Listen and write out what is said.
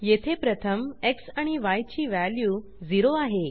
येथे प्रथम एक्स आणि य ची वॅल्यू 0 आहे